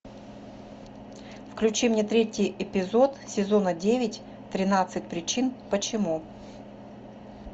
включи мне третий эпизод сезона девять тринадцать причин почему